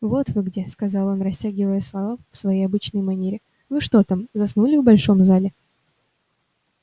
вот вы где сказал он растягивая слова в своей обычной манере вы что там заснули в большом зале